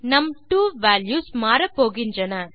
நம் 2 வால்யூஸ் மாறப்போகின்றன